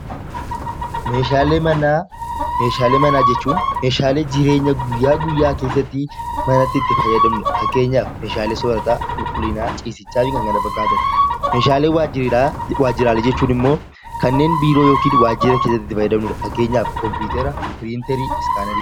Meeshaalee manaa: Meeshaalee manaa jechuun meeshaalee jireenya guyyaa guyyaa keessatti manatti itti fayyadamnu dha. Fakkeenyaaf, meeshaalee soorataa, qulqullinaa, ciisichaa fi kan kana fakkaatan. Meeshaalee waajjiraa waajjiraalee jechuun immoo kanneen biiroo (waajjira) keessatti itti fayyadamnu dha. Fakkeenyaaf, kompiitara, piriinterii, iskaanerii.